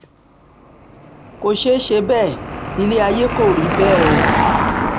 kò ṣeé ṣe bẹ́ẹ̀ ilẹ̀ ayé kò rí bẹ́ẹ̀ o